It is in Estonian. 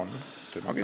On, kindlasti.